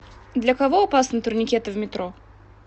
для кого опасны турникеты в метро